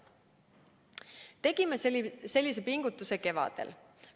Me tegime sellise pingutuse kevadel.